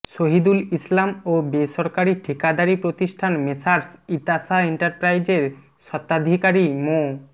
শহিদুল ইসলাম ও বেসরকারী ঠিকাদারী প্রতিষ্ঠান মেসার্স ইতাশা এন্টারপ্রাইজের স্বত্তাধিকারী মো